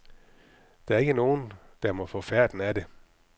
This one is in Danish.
Der er ikke nogen, der må få færten af det.